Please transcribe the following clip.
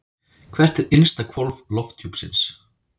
Hvert er innsta hvolf lofthjúpsins?